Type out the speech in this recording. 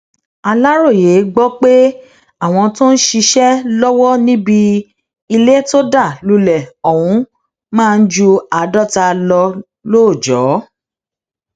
aláròyé gbọ pé àwọn tó ń ṣiṣẹ lọwọ níbi ilé tó dá lulẹ ọhún máa ń ju àádọta lọ lóòjọ